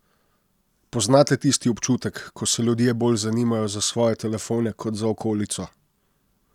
Poznate tisti občutek, ko se ljudje bolj zanimajo za svoje telefone kot za okolico?